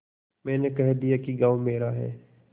मैंने कह दिया कि गॉँव मेरा है